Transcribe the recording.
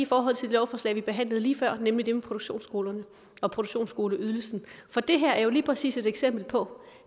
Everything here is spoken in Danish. forhold til det lovforslag vi behandlede lige før nemlig det om produktionsskolerne og produktionsskoleydelsen for det her er jo lige præcis et eksempel på